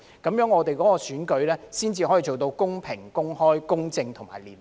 如此，我們的選舉才可做到公平、公開、公正和廉潔。